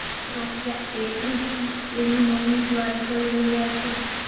Sofia એએનઇ એની મમ્મી વાત જ કરી રહ્યાં છે